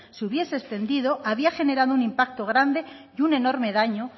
se hubises extendido había generado un impacto grande y un enorme daño